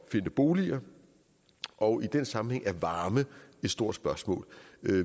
finde boliger og i den sammenhæng er varme et stort spørgsmål